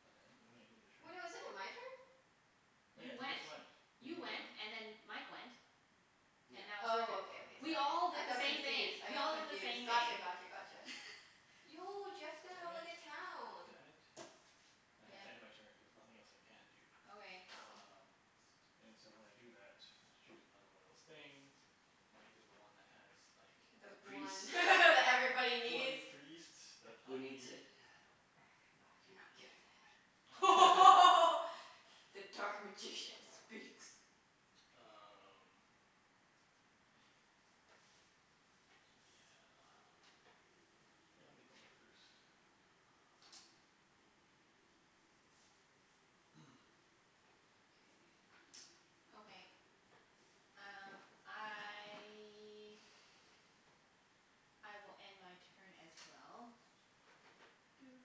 God damn it, no, we ended a Wait, no, turn? isn't it my turn? Oh yeah, you You just went. went, didn't You you just went went? and then Mike went. And Yep. now it's your turn. Oh, Is okay, it okay, my We sorry. turn? all I did the got same thing. confused. I We got all did the confused. same Gotcha, thing. gotcha, gotcha. Yo, Jeff's gonna Damn have it. like a town. Damn it. I have to Yep. end my turn cuz nothing else I can do. Okay. Oh. Um And so when I do that, I have to choose another one of those things. And Mike is the one that has like the The The one priest. that everybody bloody needs. priest that Who I needs it? need. Everybody You're needs it. not getting it. The dark magician speaks. Um Yeah. Yeah, I'll get the workers. K. Okay, um I I will end my turn as well. Doot.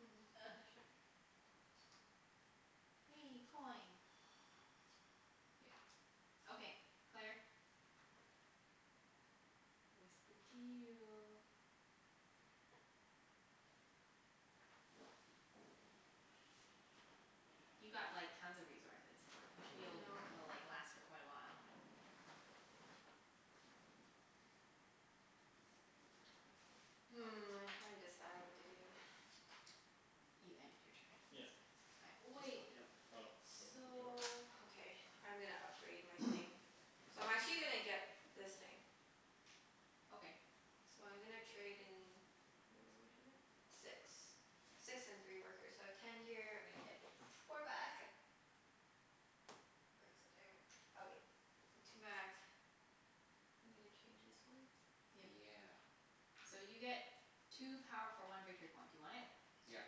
Mm. shipping. Wee, coin. Yeah. Okay, Claire? What's the deal? You've got like tons of resources. You should be I able to know. l- like last for quite a while. Hmm, I'm trying to decide what to do. You ended your turn. Yeah. I just Wait. flipped it over for Oh, you. you want them flipped over? So, okay, I'm gonna upgrade my thing. So I'm actually gonna get this thing. Okay. So I'm gonna trade in, how much is it? Six. Six and three workers. So I have ten here. I'm gonna get four back. Where's the damn, okay, two back. I'm gonna change this one. Yep. Yeah. So you get two power for one victory point. Do you want it? Yep.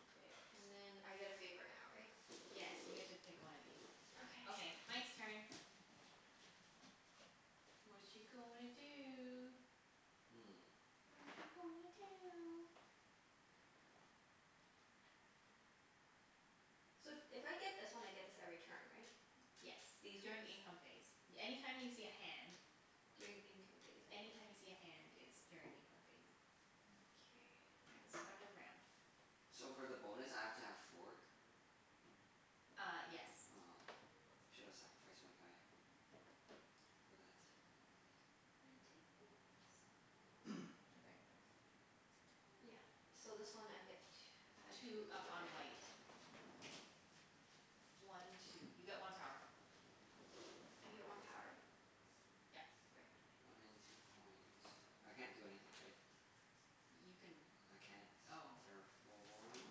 Okay. And then I get a favor now, right? Yes, you get to pick one of these. Okay, Okay. Mike's turn. Watcha gonna do? Hmm. Watcha gonna do? So if I get this one I get this every turn, right? Yes. These ones. During income phase. Any time you see a hand During income phase. Okay. Any time you see a hand it's during income phase. Mkay. At the Where start am I? of the round. So for the bonus I have to have four? Ah, yes. Aw, should have sacrificed my guy. For that. I'm gonna take this one. Okay. Yeah. So this one I get tw- add Two two up over on there. white. One two. You get one power. I get one power? Yep. Right. Okay. One in two coins. I can't do anything, right? You can, I can't oh. terraform.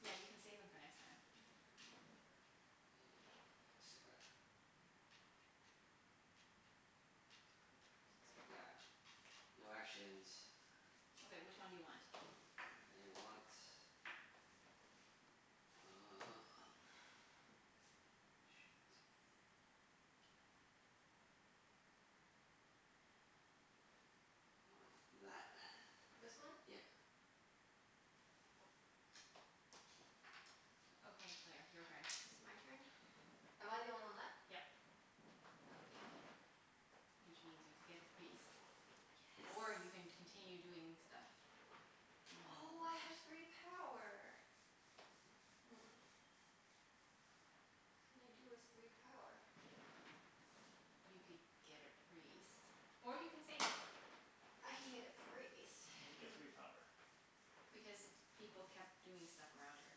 Yeah, you can save them for next time. Yeah, I still got Two for a priest. Yeah, no actions. Okay, which one do you want? I want Uh shit. Want that. This one? Yep. Okay, Claire. Your turn. It's my turn? Am I the only one left? Yep. Oh, okay. Which means you'd get the priest, or Yes. you can continue doing stuff. You have no Oh, more I have three power. Hmm. What can I do with three power? You could get a priest. Or you can save it. I can get a priest. And you Hmm. get three power. Because people kept doing stuff around her.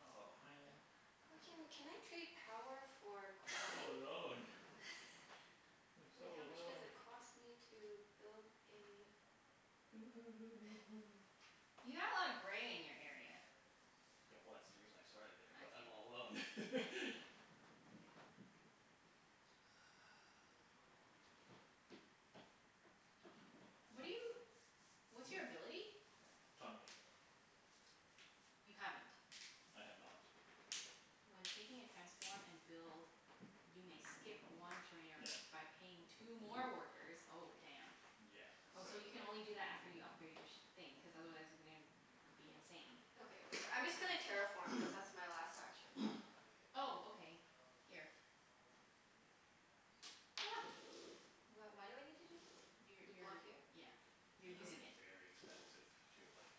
Oh, man. Why can, can I trade power for I'm so coin? alone. I'm so Wait, how much does alone. it cost me to build a You have a lotta gray in your area. Yeah, well that's the reason I started there, I but see. I'm all alone. What are you, what's Hmm? your ability? Tunneling. You haven't? I have not. When taking a transform and build you may skip one trainer Yeah. by paying two more workers. Oh, damn. Yeah, Oh, so so you like can only do that after you upgrade your sh- thing, cuz otherwise you're gonna be insane. Okay, whatever. I'm I just gonna see. terraform cuz that's my last action. Oh, okay. Here. Wh- why do I need to do this? You To block you're, here? yeah, you're It's Okay. gonna be using it. very expensive to like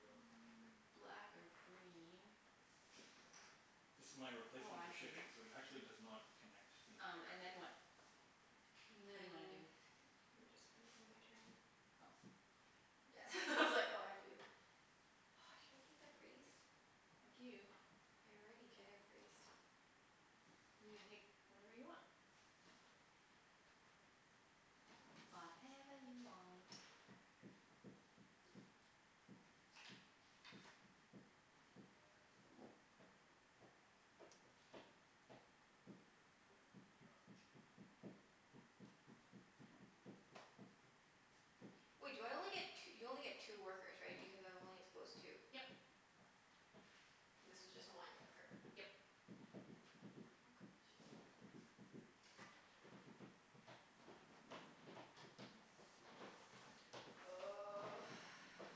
Black or green. This is my Oh, replacement for I see. shipping so it actually does not connect n- Um and then directly. what? And What do you wanna then do? I'm just gonna do my turn. Oh, okay. Yeah it's all I had to do. Should I take the priest? Up to you. I already get a priest. You can take whatever you want. Whatever you want. Wait do I only get t- you only get two workers, right? Because I've only exposed two. Yep. This was just one worker. Yep. Oh gosh.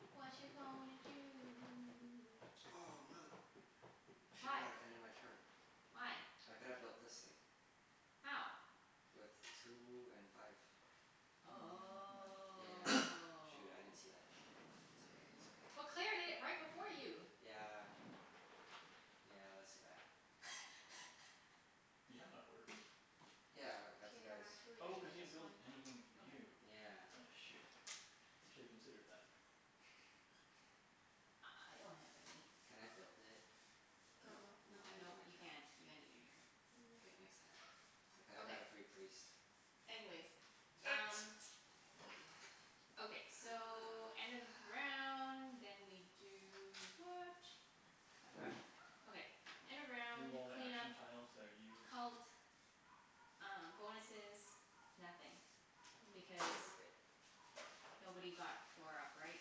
Watcha gonna do? Oh, mother, I should not have ended my turn. Why? Why? I could've built this thing. How? With two and five. He didn't have Oh. enough But Yeah. money. Claire Shoot. I didn't see that. did It's it okay. It's okay. right before you. Yeah. Yeah, that's too bad. You have enough workers? Yeah, I got K, two I'm guys. actually Oh, gonna cuz get you didn't this build one. anything new. Okay. Yeah. Aw shoot, you shoulda considered that. I I I don't have any. Can I build it? Build Nope. what? No, No. I ended Nope, my you turn. can't. You ended your turn. K, No. next time. I coulda got Okay. a free priest. Anyways, um Okay, so end of round, then we do what? I've forgotten. Okay, end of Remove round all the clean up action tiles that are used Cult, uh bonuses, nothing. Mm yeah, I think Because we're good. nobody got four up, right?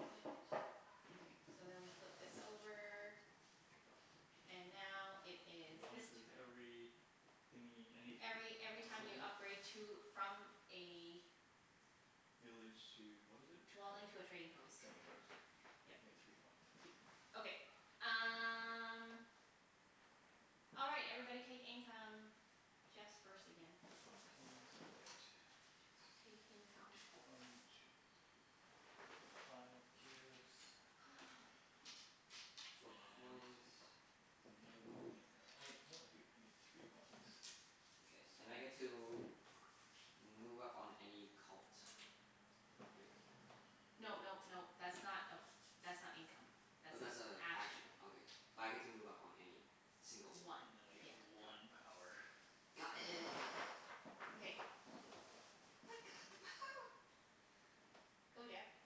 Yeah. Okay, so then we flip this over. And now it The is this bonus is turn every thingie, Every any every time you city? upgrade to, from a Village to, what is it Dwelling called? to a trading post. Trading post. You Yep. get three points. Okay. Um All right. Everybody take income. Jeff's first again. Okay, so I get t- Take income. one two three, I get five cubes. Four And coins. no coin income. Oh wait, no I do. I get three coins. Okay. And I get Sweet. to move up on any cult. Great. No nope nope. That's not a, that's not income. Oh, That's an that's a action. action. Okay. But I get to move up on any single one, One, And then I right? yeah. get Got it. one power. Got it. Okay. I've got the power. Go Jeff.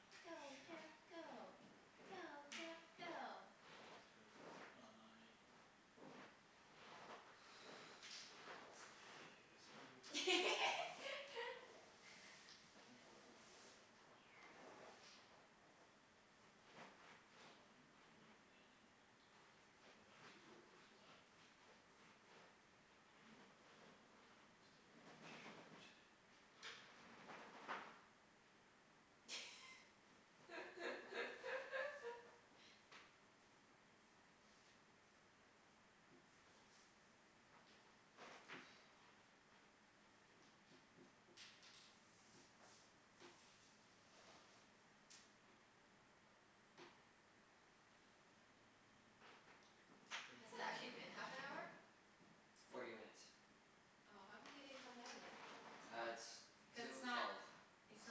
Go Ah, Jeff go. Go shoot. Jeff If go. I let's see. This can do first patrol. Temple would be that much. Five and then I got three workers left. Um I'm still one short. Mm, I'm not gonna Has it gi- actually been half an hour? Forty minutes. Oh. How come they didn't come down yet? Ah, it's two Cuz twelve. it's It's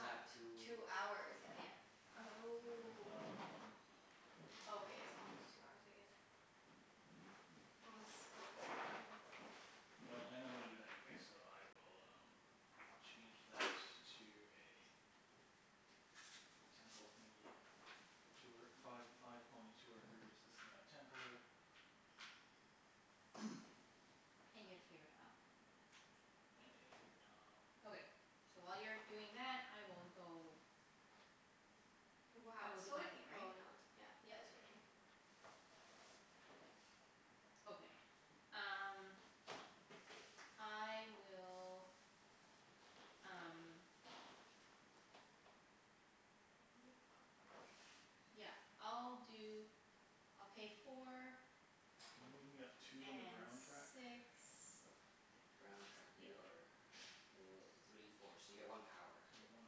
not two Two it's hours not, yet. yeah. Oh. Um Oh, okay. It's almost two hours I guess. Oh, it's so hot in here. Well, I know I'm gonna do that anyways, so I will um change that to a temple thingie. Two wor- five five coins, two workers. This is now a temple. And you get a favor tile. And I get a favor tile. Okay. So while you're doing that, I will go I Wow, will it's do so my like, thing, right? oh not, yeah, yeah. It's your turn. Okay. Um I will, um yeah, I'll When you do, upgrade I'll pay four Can you move me up two on the brown track? and six Or or Brown track. yeah. Yeah You are yeah. o- three four. So you get one power. So you get one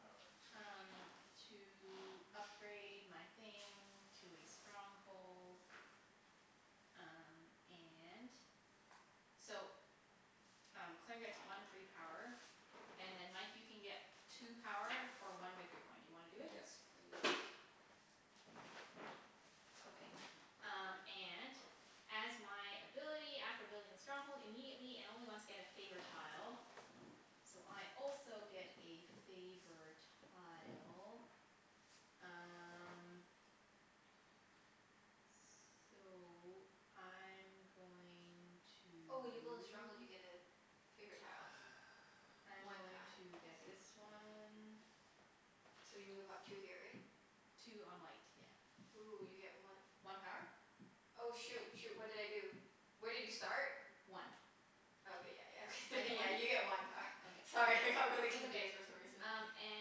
power. Sweet. um to upgrade my thing to a stronghold. Um and so um Claire gets one free power. And then Mike, you can get two power for one victory point. Do you wanna do it? Yes please. Okay. Um and as my ability after building a stronghold immediately, and only once, get a favor tile. So I also get a favor tile. Um So I'm going to Oh, when you build a stronghold you get a favorite tile. I'm One going time. I to see. get this one. So you move up two here, right? Two on white, Ooh, you get yeah. one One power? Oh, shoot, shoot. What did I do? Where did you start? One. I Oh okay, yeah, yeah. Okay get thr- one? yeah, you get one power. Okay. Sorry, I got really confused for some reason. Um and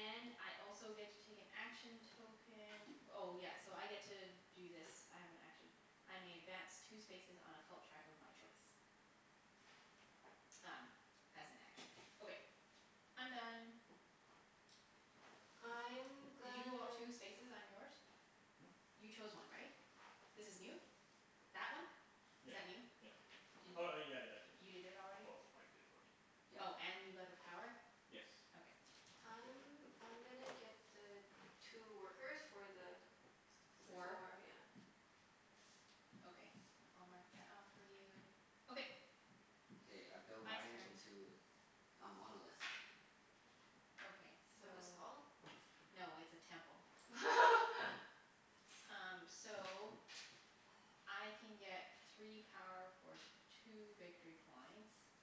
I also get to take an action token. Oh yes, so I get to do this. I have an action. I may advance two spaces on a cult track of my choice. Um as an action. Okay, I'm done. I'm Did you gonna go up two spaces on yours? Hmm? You chose one, right? This is new? That one? Yeah Is that yeah. new? Did Oh oh y- yeah, I you did. did it already? Well, Mike did for me. Yep. Oh, and you got Yes. the power? Okay. I'm I'm gonna get the two workers for the Three. four, yeah. Four? Okay. I'll mark that off for you. Okay. K, I build Mike's mine turn. into a monolith. Okay, Is that what it's so called? no, it's a temple. Um so I can get three power for two victory points.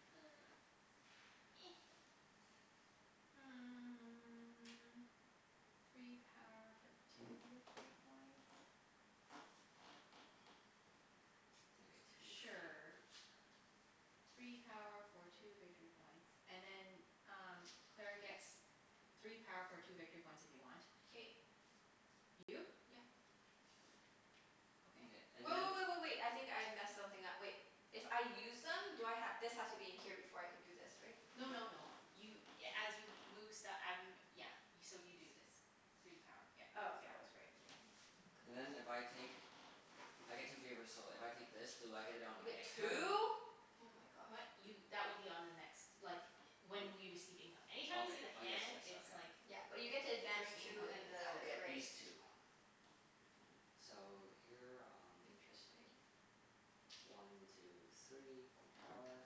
Three power for two victory points? And I get two favors. Sure. Three power for two victory points. And then um Claire gets three power for two victory points if you want. K. You do? Yep. Mkay, Okay. and Wait, then wait, wait, wait, wait. I think I messed something up. Wait. If I use them do I ha- this has to be in here before I can do this, right? No no no, you a- as you move st- I mean, yeah. So you do this. Three power. Yep. Oh, okay, I was right. Never mind. And then if I take, I get two favors, so if I take this do I get it on You my get next turn? two? Oh my gosh. What? D- Y- that would be on the next, like, W- when we receive income. Okay. Anytime you see the Oh yes, hand yes. it's Okay. like Yeah, but you get to advance during Mkay. income two in phase. I'll the get gray. these two. So, here um Interesting. One two three. One power.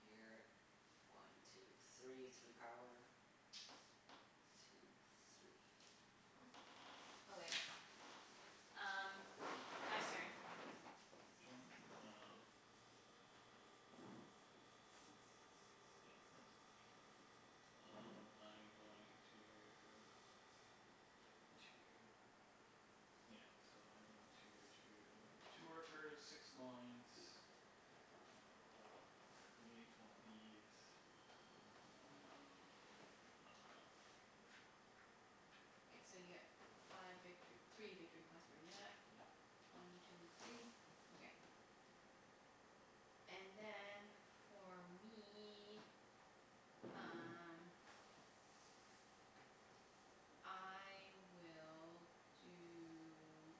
Here. One two three. Three power. Two three. Huh. Okay. Um Jeff's turn. My turn? Um Yeah, okay. Um I'm going to Pay two, yeah. So I'm going to two Two workers, six coins. And we'll create one of these. Um I dunno. This one. So you get five victor- three victory points for doing that. Yeah. One two three. Okay. And then, for me um I will do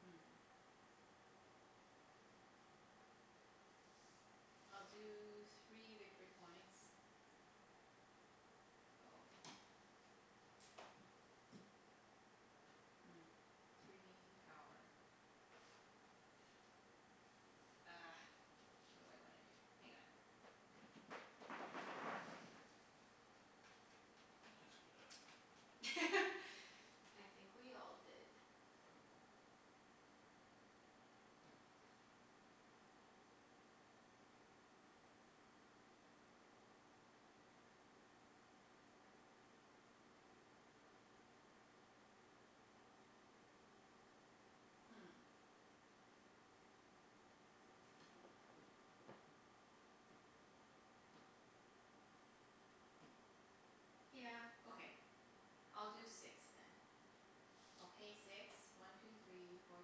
Hmm. I'll do three victory points. Oh. Hmm, three power. Ah, what do I wanna do? Hang on. I screwed up. I think we all did. Hmm. Yeah, okay. I'll do six then. I'll pay six. One two three four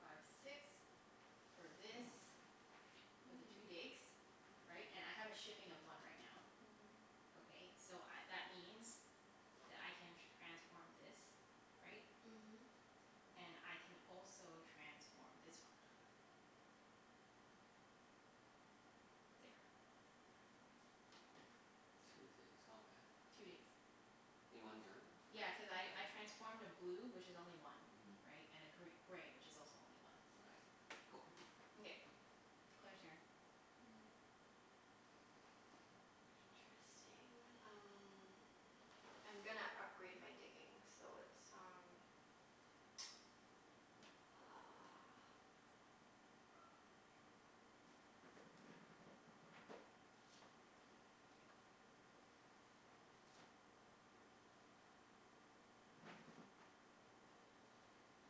five six. For this. For the two Mm. digs. Right? And I have a shipping of one right now. Mhm. Okay, so I, that means that I can transform this, right? And Mhm. I can also transform this one. There. Two digs. Okay. Two digs. In one turn? Yeah, cuz I I Okay. transformed a blue, which is only one. Mhm. Right? And a gr- gray, which is also only one. Mkay. Cool. Mkay. Claire's turn. Hmm. Interesting. Um I'm gonna upgrade my digging so it's um uh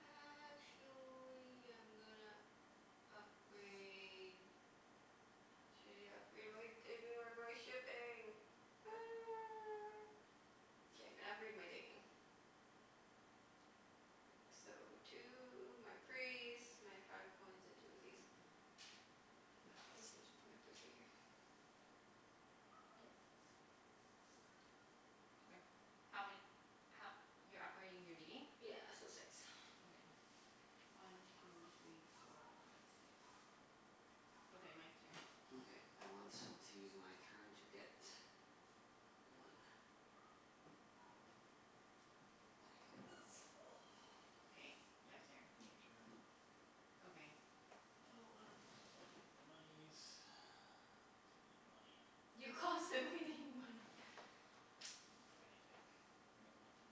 Actually I'm gonna upgrade Uh, should I upgrade my digging or my shipping? K, I'm gonna upgrade my digging. So two, my priest, my five coins, and two of these. Yep. Okay. How ma- ho- You're upgrading your digging? Yeah, so six. Okay. One two three four five six. Okay, Mike's turn. Mkay. I want to use my turn to get one. And I get this. Okay, Jeff's turn. Ending turn. Okay. Oh, wow. I'll get the monies cuz I need money. You constantly need money. I don't have anything. I got nothin'.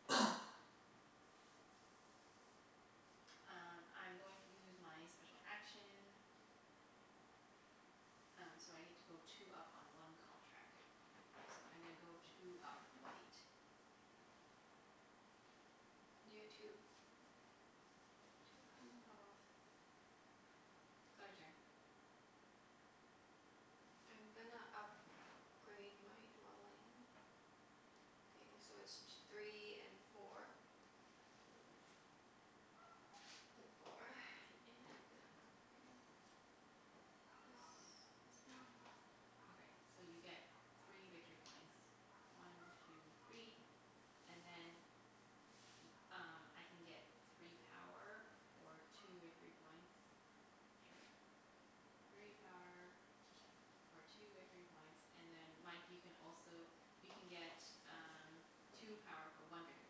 Um I'm going to use my special action. Um so I get to go two up on one cult track. So I'm gonna go two up white. You get two. Okay. Two power. Two power. Claire's turn. I'm gonna up grade my dwelling thing, so it's t- three and four. Four and I'm gonna upgrade this this one. Okay, so you get three Two victory three. points. One two three, and then Y- um I can get three power for two victory points. Or Sure. a church. Three power for two victory points, and then Mike you can also you can get um two power for one victory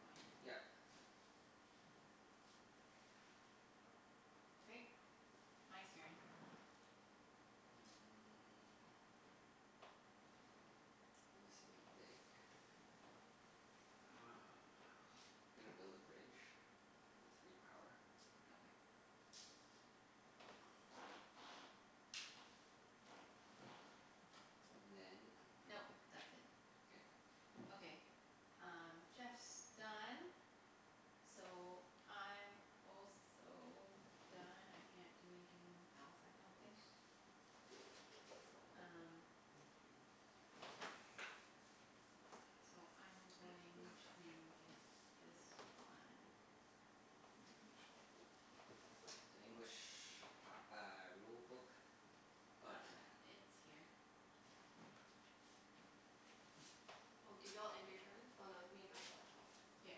point. Yep. Okay, Mike's turn. Mm. I'm missing a dig. Uh gonna build a bridge. With three power. Okay. And then Nope, that's it. K. Okay. Um Jeff's done. So I'm also done. I can't do anything else, Their I don't rules. think. Um Thank you. So I'm Hey, this is going the French one. to get this one. Where's the English one? The English p- uh rulebook? Oh, Junette has it. Uh it's here. Oh, did you all end your turn? Oh no, it's me and Mike left. Yep.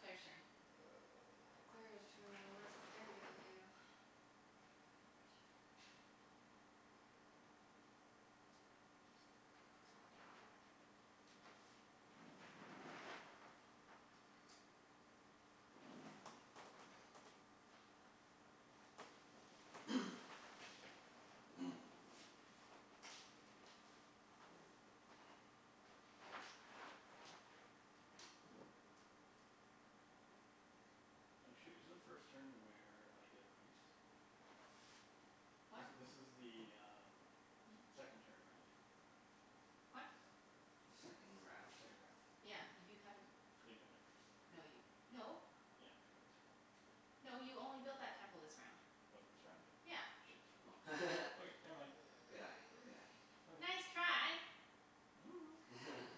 Claire's turn. Oh my, Claire's turn. What is Claire gonna do? T- good question. Oh shoot, is the first turn where I get a priest? What? This this is the um second turn, right? What? Second round? Second round. Yeah, you haven't, I didn't get my priest. no y- no. Yeah, cuz I have a temple. No, you only built that temple this round. Was it this round? Yeah. Shit. Oh. Okay. Okay, never mind. Good eye. Good eye. Okay. Nice try.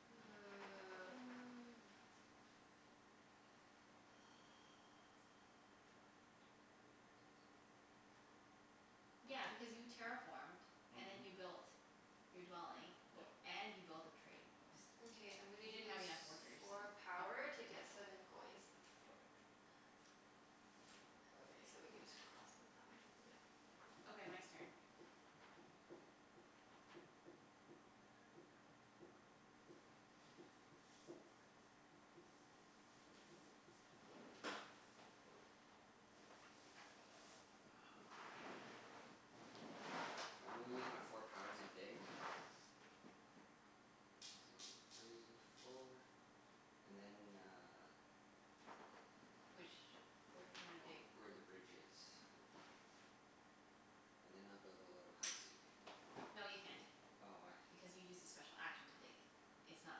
Five. One two three four five six seven eight. Yeah, because you terraformed and Mhm. then you built your dwelling, o- Yep. and you built a trading post. Mkay, I'm gonna You didn't use have enough workers to four power upgrade to to a get temple. seven coins. Okay. Okay, so we can just cross out that one. Yeah. Okay, Mike's turn. Uh I'm gonna use my four power to dig. One two three four. And then uh Which, where do you wanna Ov- dig? where the bridge is. And then I'll build a little housey. No, you can't, Oh, why? because you used a special action to dig. It's not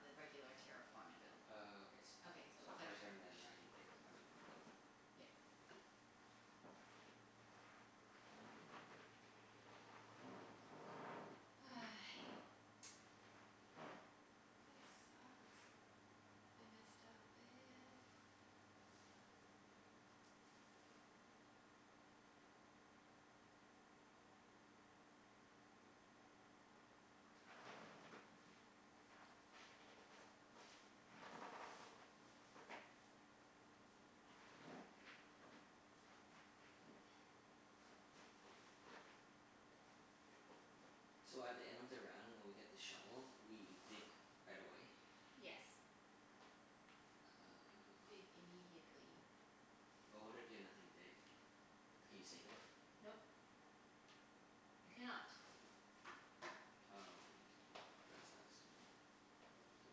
the regular terraform and build. Oh, okay s- Okay, so so her Claire's turn turn. and then I can dig. I mean build. Yep. This sucks. I messed up bad. So at the end of the round when we get the shovel, we dig right away? Yes, you dig Oh. immediately. But what if you have nothing to dig? Can you save it? Nope. You cannot. Oh, that sucks. Say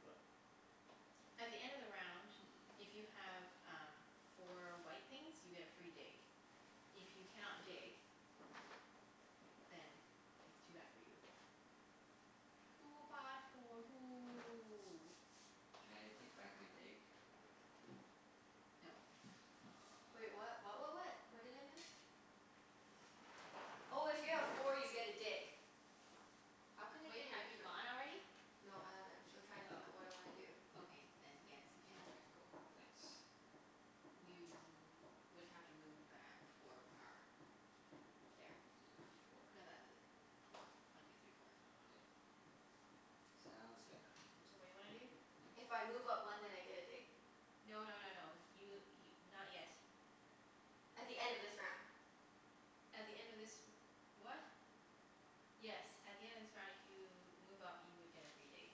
what? At the end of the round, if you Mm. have um four white things you get a free dig. If you cannot dig then it's too bad for you. Too bad for you. Can I take back my dig? No. Wait, Oh. what what what what? What did I miss? Oh, if you have four you get a dig. How can I Wait, get an have you extra one? gone already? No, I haven't. I'm still trying to think of what I wanna do. Oh, okay, then yes, you Oh, can. okay. Cool. Thanks. You would have to move back four Four. power. There. Y- four. No, th- four. One two three four. K. Sounds good. So what do you wanna do? If I move up one then I get a dig? No no no no. You y- not yet. At the end of this round. At the end of this r- what? Yes, at the end of this round if you move up you would get a free dig.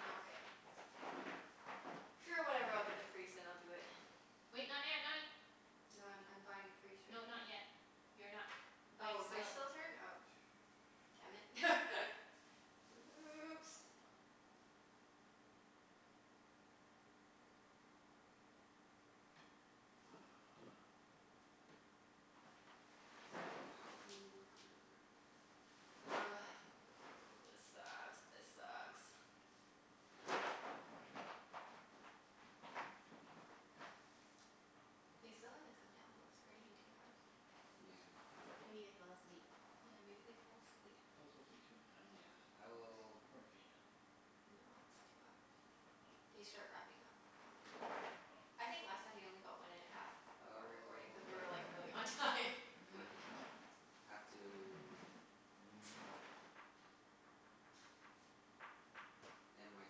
Nokay. Sure, whatever. I'll get the priest and I'll do it. Wait, not yet, not y- No, I'm I'm buying a priest right No, not now. yet. You're not, Mike's Oh, Mike's still still turn? Oh. Damn it. Oops. Uh Three power one worker. Ugh, this sucks. This sucks. They still haven't come down, though. It's already been two hours. Yeah. Maybe they fell asleep? Yeah, maybe they fell asleep. It could also take two and a half hours, Yeah. I will according to the email. No, it's two hours. Oh. They start wrapping up after two hours. Oh. I think last time they only got one and a half of our recording cuz we were like really on Oh. time. Oh. Have to End my